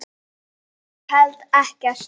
Ég held ekkert.